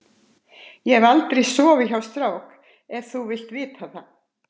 Ég hef aldrei sofið hjá strák ef þú vilt vita það.